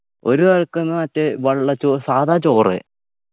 ഒരാൾക്ക്ന്ന് മറ്റേ വെള്ള ചോറ് സാധാ ചോറ്